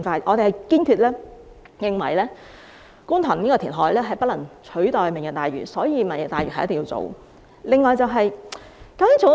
我們堅決認為，觀塘填海不能取代"明日大嶼"，因此"明日大嶼"一定要進行。